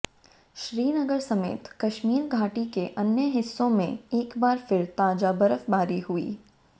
श्रीनगर समेत कश्मीर घाटी के अन्य हिस्सों में एक बार फिर ताजा बर्फबारी हुई